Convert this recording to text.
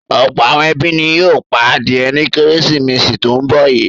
Ọ̀pọ̀ àwọn ẹbí ni yóò pa adìẹ ní Kérésìmesì tó ń bọ̀ yìí.